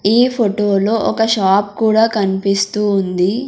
ఈ ఫోటోలో ఒక షాప్ కూడా కనిపిస్తూ ఉంది.